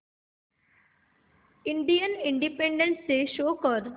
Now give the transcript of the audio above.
Indian independence day show कर